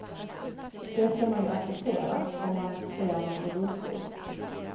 Det ska man ju acceptera, om man ser nån i rullstol.